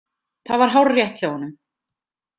Það var hárrétt hjá honum.